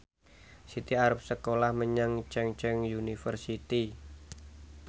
Siti arep sekolah menyang Chungceong University